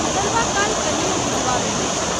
उतरबा काल कनियो बुझबा मे नहिं आयल।